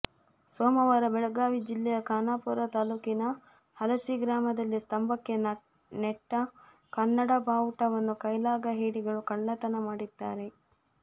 ಸೋಮವಾರ ಬೆಳಗಾವಿ ಜಿಲ್ಲೆಯ ಖಾನಾಪೂರ ತಾಲೂಕಿನ ಹಲಸಿ ಗ್ರಾಮದಲ್ಲಿ ಸ್ತಂಭಕ್ಕೆ ನೆಟ್ಟ ಕನ್ನಡ ಬಾವುಟವನ್ನು ಕೈಲಾಗ ಹೇಡಿಗಳು ಕಳ್ಳತನ ಮಾಡಿದ್ದಾರೆ